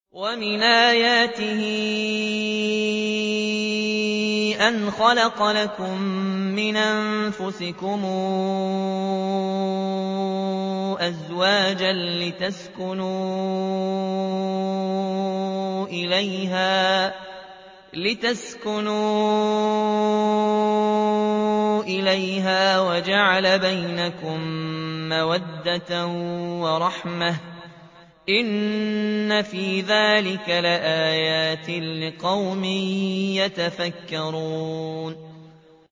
وَمِنْ آيَاتِهِ أَنْ خَلَقَ لَكُم مِّنْ أَنفُسِكُمْ أَزْوَاجًا لِّتَسْكُنُوا إِلَيْهَا وَجَعَلَ بَيْنَكُم مَّوَدَّةً وَرَحْمَةً ۚ إِنَّ فِي ذَٰلِكَ لَآيَاتٍ لِّقَوْمٍ يَتَفَكَّرُونَ